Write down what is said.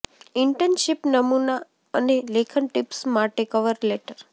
internship નમૂના અને લેખન ટિપ્સ માટે કવર લેટર